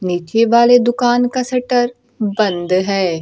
नीचे वाले दुकान का शटर बंद है।